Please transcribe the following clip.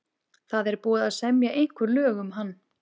Það er búið að semja einhver lög um hann.